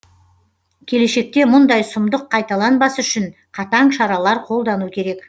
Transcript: келешекте мұндай сұмдық қайталанбас үшін қатаң шаралар қолдану керек